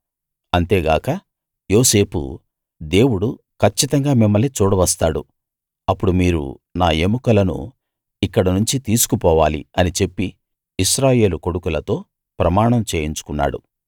అంతే గాక యోసేపు దేవుడు కచ్చితంగా మిమ్మల్ని చూడవస్తాడు అప్పుడు మీరు నా ఎముకలను ఇక్కడనుంచి తీసుకుపోవాలి అని చెప్పి ఇశ్రాయేలు కొడుకులతో ప్రమాణం చేయించుకున్నాడు